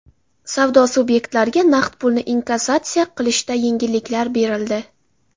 Savdo subyektlariga naqd pulni inkassatsiya qilishda yengilliklar berildi.